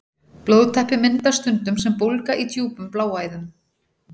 Blóðtappi myndast stundum sem bólga í djúpum bláæðum.